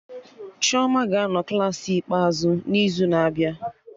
Chioma ga-anọ Klassị ikpeazụ n'izu na-abịa